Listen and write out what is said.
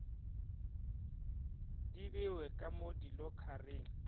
di bewe ka mo dilokharing